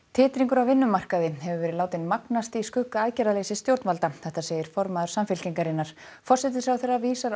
titringur á vinnumarkaði hefur verið látinn magnast í skugga aðgerðarleysis stjórnvalda segir formaður Samfylkingarinnar forsætisráðherra vísar